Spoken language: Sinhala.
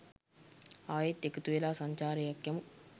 ආයෙත් එකතුවෙලා සංචාරයක් යමු.